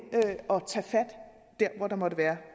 og tage fat dér hvor der måtte være